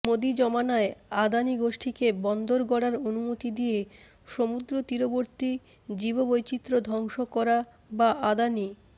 মোদী জমানায় আদানি গোষ্ঠীকে বন্দর গড়ার অনুমতি দিয়ে সমুদ্র তীরবর্তী জীববৈচিত্র ধ্বংস করা বা আদানি